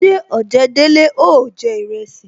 Ṣé ojedele ó jẹ iresi